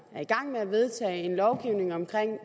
med at vedtaget en lovgivning om